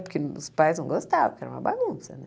Porque os pais não gostavam, porque era uma bagunça, né?